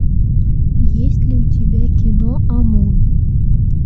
есть ли у тебя кино амун